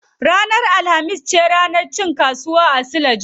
Ranar alhamis ce ranar cin kasuwa a suleja.